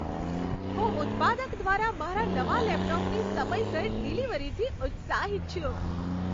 હું ઉત્પાદક દ્વારા મારા નવા લેપટોપની સમયસર ડિલિવરીથી ઉત્સાહિત છું.